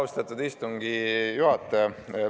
Austatud istungi juhataja!